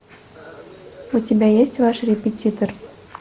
у тебя есть ваш репетитор